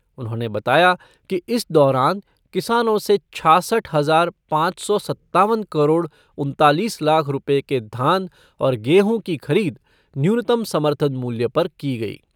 उन्होंने बताया कि इस दौरान किसानों से छ्यासठ हजार पांच सौ सत्तावन करोड़ उन्तालीस लाख रुपये के धान और गेहूं की खरीद न्यूनतम समर्थन मूल्य पर की गई।